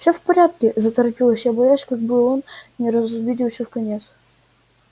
всё в порядке заторопилась я боясь как бы он не разобиделся вконец